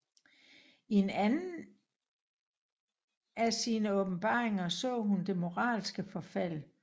I en anden af sine åbenbaringer så hun det moralske forfald